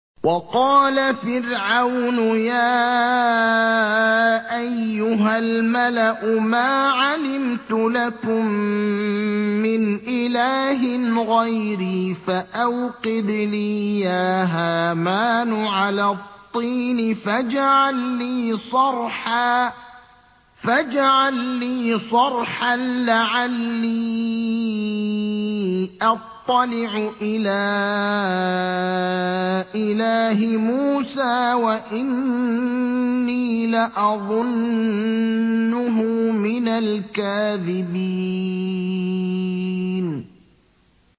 وَقَالَ فِرْعَوْنُ يَا أَيُّهَا الْمَلَأُ مَا عَلِمْتُ لَكُم مِّنْ إِلَٰهٍ غَيْرِي فَأَوْقِدْ لِي يَا هَامَانُ عَلَى الطِّينِ فَاجْعَل لِّي صَرْحًا لَّعَلِّي أَطَّلِعُ إِلَىٰ إِلَٰهِ مُوسَىٰ وَإِنِّي لَأَظُنُّهُ مِنَ الْكَاذِبِينَ